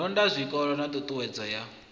londa zwikolo na ṱhuṱhuwedzo ya